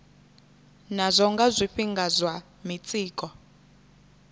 nazwo nga zwifhinga zwa mitsiko